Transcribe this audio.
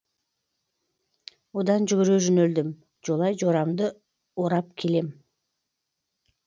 одан жүгіре жөнелдім жолай жорамды орап келем